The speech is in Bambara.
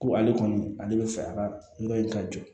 Ko ale kɔni ale bɛ fɛ a ka yɔrɔ in ka jɔ